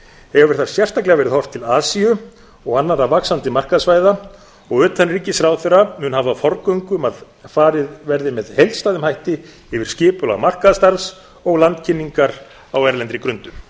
hefur þar sérstaklega verið horft til asíu og annarra vaxandi markaðssvæða og utanríkisráðherra mun hafa forgöngu um að farið verði með heildstæðum hætti yfir skipulag markaðsstarfs og landkynningar á erlendri grundu